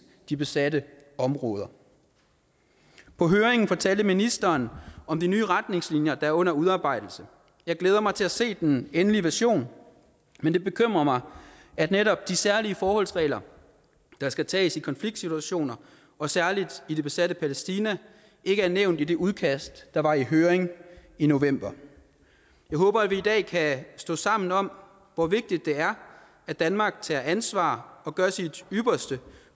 de besatte områder på høringen fortalte ministeren om de nye retningslinjer der er under udarbejdelse jeg glæder mig til at se den endelige version men det bekymrer mig at netop de særlige forholdsregler der skal tages i konfliktsituationer og særlig i det besatte palæstina ikke er nævnt i det udkast der var i høring i november jeg håber at vi i dag kan stå sammen om hvor vigtigt det er at danmark tager ansvar og gør sit ypperste